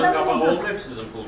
Ondan qabaq olub sizin pulunuzdan?